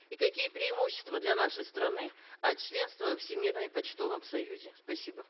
и какие преимущества для нашей страны от членства во всемирном почтовом союзе спасибо